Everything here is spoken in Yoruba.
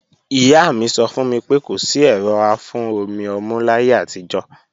Ìyá mi sọ fún mi pé kò sí ẹ̀rọ afún-omi-ọmú láyé àtijọ́